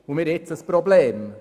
Nun haben wir ein Problem.